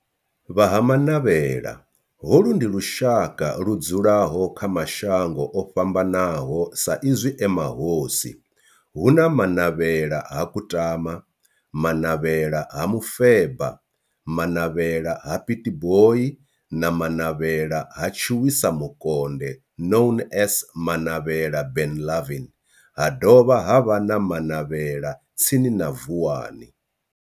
Vha Ha-Manavhela, holu ndi lushaka ludzulahp kha mashango ofhambanaho sa izwi e mahosi hu na Manavhela ha Kutama, Manavhela ha Mufeba, Manavhela ha Pietboi na Manavhela ha Tshiwisa Mukonde known as Manavhela Benlavin ha dovha havha na Manavhela tsini na Vuwani.